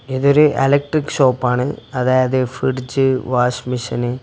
ഇതൊരു electric shop ആണ് അതായത് ഫ്രിഡ്ജ് വാഷിംഗ്മെഷീന് --